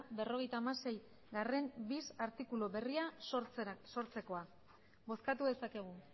berrogeita hamaseigarrena bis artikulu berria sortzekoa bozkatu dezakegu